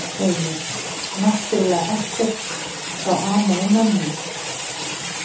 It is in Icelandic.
Heimir: Náttúrlega ekkert þá amað að mönnum?